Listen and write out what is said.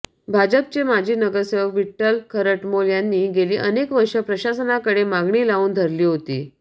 भाजपचे माजी नगरसेवक विट्ठल खरटमोल यांनी गेली अनेक वर्ष प्रशासनाकडे मागणी लावून धरली होती